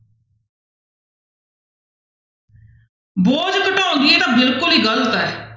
ਬੋਝ ਘਟਾਉਂਦੀ ਹੈ ਇਹ ਤਾਂ ਬਿਲਕੁਲ ਹੀ ਗ਼ਲਤ ਹੈ।